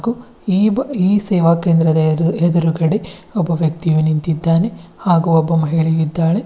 ಇಬ ಈ ಸೇವಾ ಕೇಂದ್ರದ ಎದುರುಗಡೆ ಒಬ್ಬ ವ್ಯಕ್ತಿಯು ನಿಂತಿದ್ದಾನೆ ಹಾಗು ಒಬ್ಬ ಮಹಿಳೆಯು ಇದ್ದಾಳೆ.